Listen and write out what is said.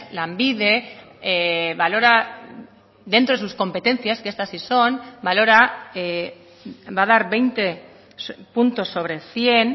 lanbide valora dentro de sus competencias que estas sí son valora va a dar veinte puntos sobre cien